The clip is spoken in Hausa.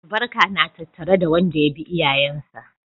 Albarka na tattare da wanda ya bi iyayensa.